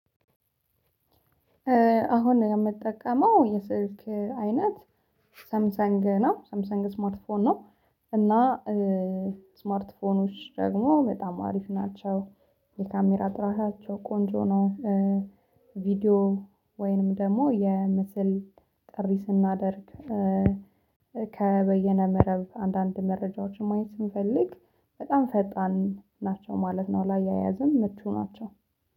አሁን የምትጠቀመው የስልክ አይነት ሳምሰንግ ነው ሳምሰንግ ስማርት ስማርት ፎን ነው። እና ስማርት ፎኖች ደግሞ በጣም አሪፍ ናቸው። የካሜራ ጥራታቸው ቆንጆ ነው። ቪዲዮ ወይንም ደግሞ የምስል ጥሪ ስናደርግ። ከበየነ መረብ አንዳንድ መረጃዎችን ማየት ስንፈልግ በጣም ፈጣን ናቸው ማለት ነው። ላያያዝም ምቹ ናቸው